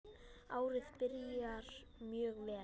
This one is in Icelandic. Árið byrjar mjög vel.